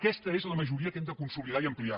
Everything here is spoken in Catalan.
aquesta és la majoria que hem de consolidar i ampliar